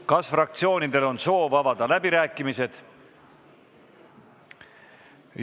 Kas fraktsioonidel on soov avada läbirääkimised?